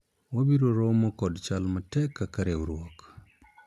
wabiro romo kod chal matek kaka riwruok